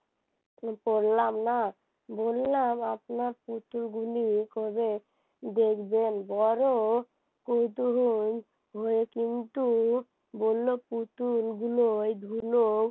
বললাম না বললাম আপনার পুত্র গুলি কবে দেখবেন বড় পুতুল হয়ে কিন্তু বলল পুতুলগুলো এই হলো